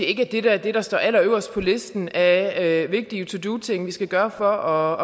ikke er det der står allerøverst på listen af vigtige to do ting vi skal gøre for